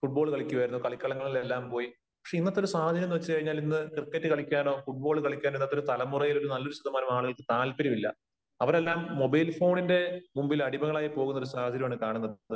Football കളിക്കുമായിരുന്നു, കളിക്കളങ്ങളിലെല്ലാം പോയി. പക്ഷേ ഇന്നത്തെ ഒരു സാഹചര്യം എന്ന് വച്ച് കഴിഞ്ഞാൽ ഇന്ന് ക്രിക്കറ്റ് കളിയ്ക്കാനോ ഫൂട്ബോള് കളിയ്ക്കാനോ ഇന്നത്തെ ഒരു തലമുറയില് നല്ലൊരു ശതമാനം ആളുകൾക്ക് താല്പര്യമില്ല. അവരെല്ലാം മൊബൈൽ ഫോണിന്റെ മുമ്പിൽ അടിമകളായി പോകുന്ന ഒരു സാഹചര്യമാണ് കാണുന്നത്.